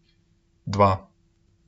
Dva!